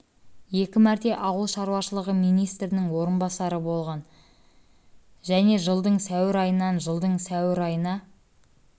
мәрте ауыл шаруашылығы министрінің орынбасары болғын және жылдың сәуір айынан жылдың сәуір айына